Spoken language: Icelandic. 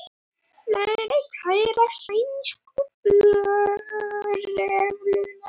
Fleiri kæra sænsku lögregluna